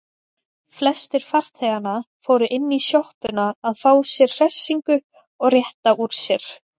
Flestir farþeganna fóru inní sjoppuna að fá sér hressingu og rétta úr sér.